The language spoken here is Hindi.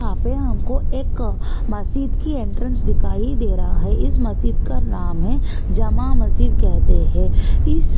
यहाँ पे हमको एक मस्जिद की एंट्रेंस दिखाई दे रहा है इस मस्जिद का नाम है जामा मस्जिद कहते हैं। इस--